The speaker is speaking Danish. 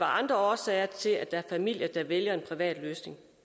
andre årsager til at der er familier der vælger en privat løsning